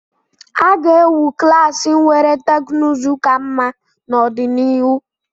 A ga-ewu klaasị nwere teknụzụ ka mma n'ọdịnihu.